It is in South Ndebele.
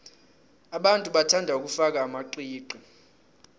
abantu bathanda ukufaka amaqiqi